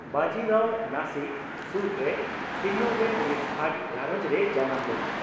ᱵᱟᱡᱤ ᱨᱟᱣ ᱱᱟᱥᱤᱠ ᱥᱳᱨᱨᱮ ᱥᱤᱱᱱᱚ ᱨᱮ ᱢᱤᱫ ᱵᱷᱟᱴ ᱜᱷᱟᱨᱧᱡ ᱨᱮ ᱡᱟᱱᱟᱢ ᱞᱮᱱᱟᱭ ᱾